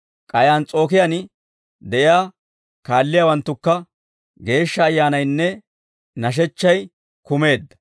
K'ay Ans's'ookiyaan de'iyaa kaalliyaawanttunkka Geeshsha Ayyaanaynne nashechchay kumeedda. P'awuloosa Koyro Ogiyaa